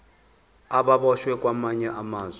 ababoshwe kwamanye amazwe